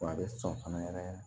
Wa a bɛ sɔn fana yɛrɛ yɛrɛ